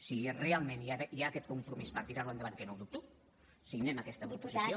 si realment hi ha aquest compromís per tirar ho endavant que no ho dubto signem aquesta proposició